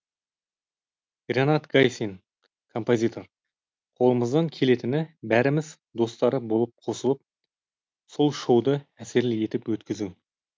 ренат гайсин композитор қолымыздан келетіні бәріміз достары болып қосылып сол шоуды әсерлі етіп өткізу